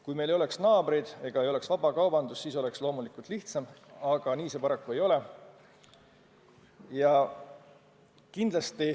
Kui meil ei oleks naabreid ega vabakaubandust, siis oleks loomulikult lihtsam, aga nii see paraku ei ole.